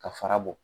Ka fara bɔ